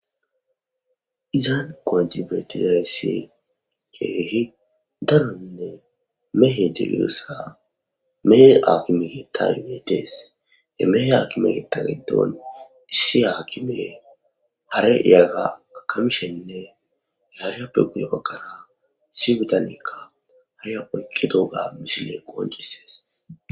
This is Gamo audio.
Dizaan qoonci betizayssi keehi daronne mehe de iyossa mehe akime getagibeetees he mehe hakime geta giddon issi haakime hare iyagga akamishenne yashappe guye bakkara si bitanikka harea oyqqi dooga mishile qooncisees